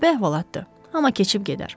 Qəribə əhvalatdır, amma keçib gedər.